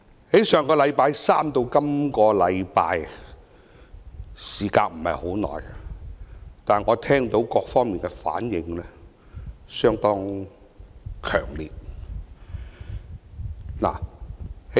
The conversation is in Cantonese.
從上星期三至這星期，我聽到各方的反應相當強烈。